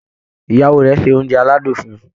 Ìyàwó rẹ̀ ṣe oúnjẹ aládùn fún un